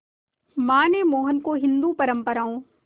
मां ने मोहन को हिंदू परंपराओं